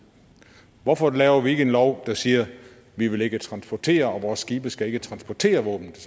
hvorfor laver vi ikke en lov der siger vi vil ikke transportere og vores skibe skal ikke transportere våben til